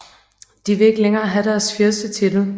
De vil ikke længere have deres fyrstetitel